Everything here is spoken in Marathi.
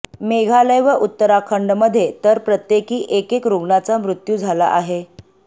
मेघालय व उत्तराखंडमध्ये तर प्रत्येकी एकेक रुग्णाचा मृत्यू झाला आहे